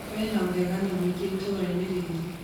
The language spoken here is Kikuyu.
Kwĩna ũragani mũingĩ itũũrainĩ rĩĩrĩ